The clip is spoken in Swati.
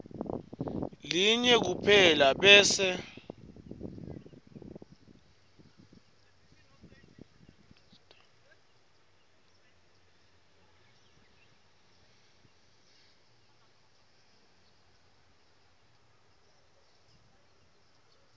linye kuphela bese